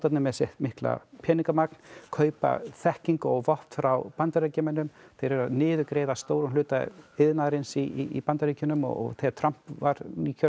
með sitt mikla peningamagn kaupa þekkingu og vopn frá Bandaríkjamönnum þeir eru að niðurgreiða stóran hluta iðnaðarins í Bandaríkjunum og þegar Trump var nýkjörinn